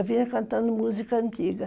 Eu vinha cantando música antiga.